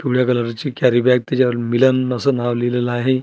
पिवळ्या कलर ची कॅरीबॅग तिच्यावर मिलन असं नांव लिहिलेलं आहे.